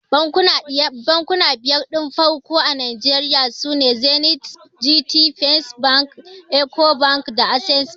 Bankuna biyar din farko a Nigeria sune Zenith, Gt, First bank, Ecobank da Access bank.